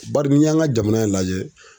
Bari ni y'an ka jamana in lajɛ